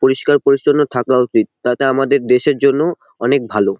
পরিষ্কার পরিচ্ছন্ন থাকা উতিত। তাতে আমাদের দেশের জন্য অনেক ভালো।